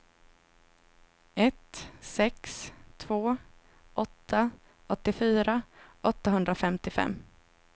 ett sex två åtta åttiofyra åttahundrafemtiofem